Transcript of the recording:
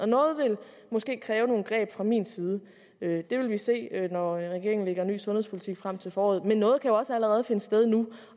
noget vil måske kræve nogle greb fra min side det det vil vi se når regeringen lægger en ny sundhedspolitik frem til foråret men noget kan også allerede finde sted nu